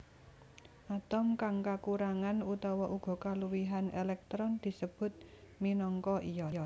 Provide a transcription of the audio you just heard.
Atom kang kakurangan utawa uga kaluwihan èlèktron disebut minangka ion